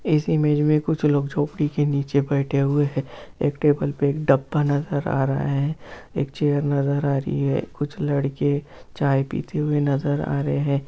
इस इमेज मे कुछ लोग झोपड़ी के नीचे बैठे हुए है एक टेबल पे एक डब्बा नज़र रहा है एक चेयर नज़र रही है कुछ लड़के चाय पीते हुए नज़र आ रहे है।